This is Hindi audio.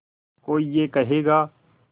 कोई ये कहेगा